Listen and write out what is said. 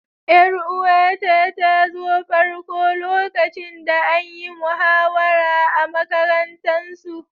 Yar'uwa ta ta zo farko lokacin da an yi muhawara a'makarantan su.